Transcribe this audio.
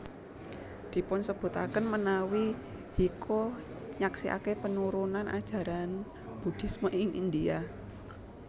Dipunsebutaken menawi Hyecho nyaksiaken penurunan ajaran Buddhisme ing India